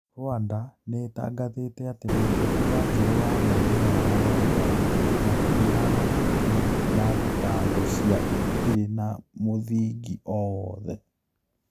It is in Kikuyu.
Rwanda nĩ ĩtangathĩte atĩ mũteti wanjiru na mami wao wangari matirĩ na mahĩtia na thitanngo cia itirĩ na mũthingi o wothe